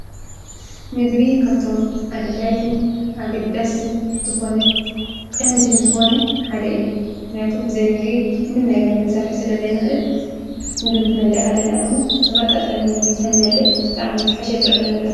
ምግቢ ካብቶም ኣድላይትን ኣግድዳስትን ዝኾነይ ቐንድን ዝኾነይ ሓደ እዩ እናያቱም ብዘይ ምግቢ እንም ነገር ክንሠርሕ ስለ ዘይንኽእል ምግቢ ኽነለዕሃለና ድሞ ዘማጣጠኒ ምግቢ ተንበለዕ ተኣሚ ዝሓሸጥረና ነረሩ።